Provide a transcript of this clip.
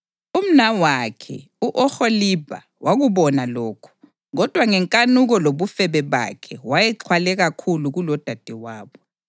Umnawakhe u-Oholibha wakubona lokhu, kodwa ngenkanuko lobufebe bakhe wayexhwale kakhulu kulodadewabo.